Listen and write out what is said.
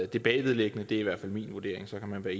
det bagvedliggende det er i hvert fald min vurdering og så kan man være